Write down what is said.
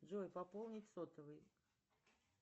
джой пополнить сотовый